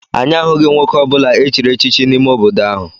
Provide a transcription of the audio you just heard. Anyị ahụghị nwoke ọ bụla echiri echichi n'ime obodo ahụ.